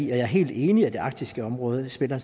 er helt enig i at det arktiske område spiller